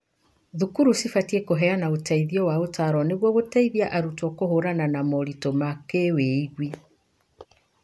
Thukuru cibatie kũheana ũteithio wa ũtaaro nĩguo gũteithia arutwo kũhiũrania na moritũ ma kĩwĩigwi.